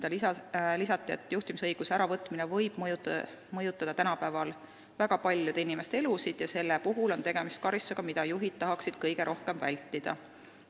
Lisati, et juhtimisõiguse äravõtmine võib tänapäeval mõjutada väga paljude inimeste elusid ja see on karistus, mida juhid tahaksid kõige rohkem vältida.